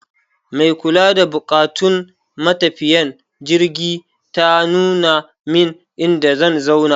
Mai kula da buƙatun matafiyan jirgi ta nuna min inda zan zauna.